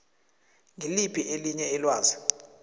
ngiliphi elinye ilwazi